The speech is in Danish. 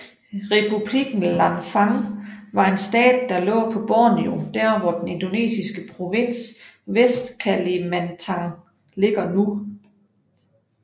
Republikken Lanfang var en stat der lå på Borneo der hvor den indonesiske provins Vestkalimantan ligger nu